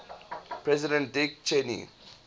president dick cheney